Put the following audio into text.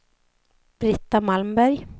Britta Malmberg